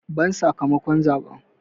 Ban sakamakon zaɓen!